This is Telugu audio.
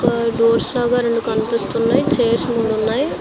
ఒక్కా డోర్స్ లాగా రెండు కనిపిస్తూన్నయ్. చైర్స్ మూడు ఉన్నాయ్.